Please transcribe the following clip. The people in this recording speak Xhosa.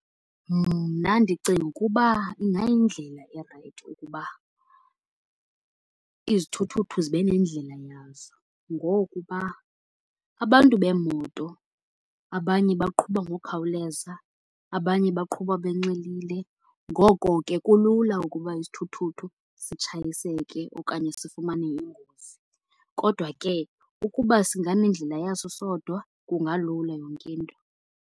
Mna ndicinga ukuba ingayindlela erayithi ukuba izithuthuthu zibe nendlela yazo. Ngokuba abantu beemoto abanye baqhuba ngokukhawuleza, abanye baqhuba benxilile, ngoko ke kulula ukuba isithuthuthu sitshayiseke okanye sifumane ingozi. Kodwa ke ukuba singanendlela yaso sodwa kungalula yonke into.